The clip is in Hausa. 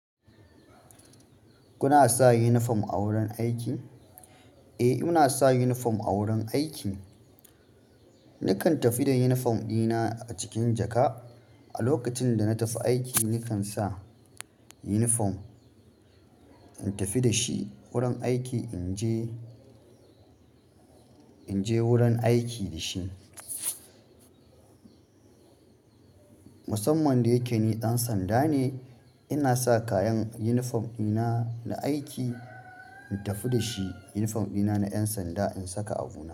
Kuna sa unifom a wurin aiki? Eh, muna sa unifom a wurin aiki. Nikan tafi da unifom ɗina a cikin jaka. A lokacin da na tafi aiki, nikan sa yunifom in tafi da shi wurin aiki, in je, in je wurin aiki da shi. Musamman da yake ni ɗan sanda ne, ina sa kayan yunifom ɗina na aiki, in tafi da shi yunifom ɗina na ƴan sanda in saka abu na.